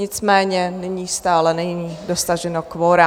Nicméně nyní stále není dosaženo kvora.